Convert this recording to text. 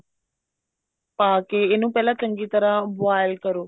ਪਾਕੇ ਇਹਨੂੰ ਪਹਿਲਾਂ ਚੰਗੀ ਤਰ੍ਹਾਂ boil ਕਰੋ